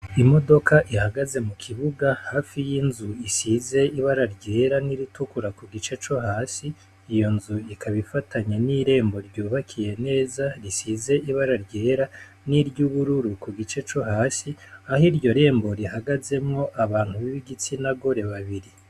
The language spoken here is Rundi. Imodoka ihagaze mu kibuga hafi y' inzu isize ibara ryera n' iritukura ku gice co hasi iyo nzu ikaba ifatanye n' irembo ryubakiye neza risize ibara ryera niry'ubururu ku gice co hasi aho iryo rembo rihagazemwo abantu b'igitsina gore babiri.